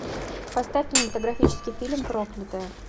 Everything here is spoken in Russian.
поставь кинематографический фильм проклятая